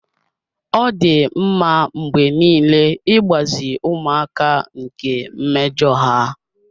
Ọ dị mma mgbe niile ịgbazi ụmụaka nke mmejọ ha.